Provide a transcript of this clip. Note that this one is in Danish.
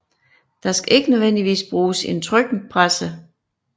Der skal ikke nødvendigvis bruges en trykpresse